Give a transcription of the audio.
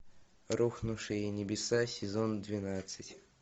рухнувшие небеса сезон двенадцать